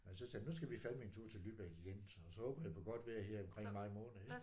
Men så tænkte jeg nu skal vi fandeme en tur til Lübeck igen så så håber jeg på godt vejr her omkring maj måned ikk